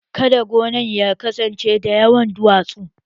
Kada gonan ya kasance da yawan duwatsu